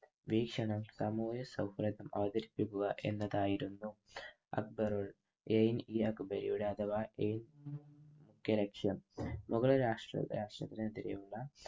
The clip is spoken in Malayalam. വീക്ഷണം സമൂഹ സൗഘ്യം അവതരിപ്പിക്കുക എന്നതായിരുന്നു അക്ബർ എ ഇ അക്ബെരിയുടെ അഥവാ എ കെയ്‌ ലക്ഷ്യം. മുഗൾ രാഷ്ട്ര രാഷ്ട്രത്തിനെതിരെയുള്ള